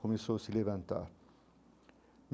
Começou a se levantar.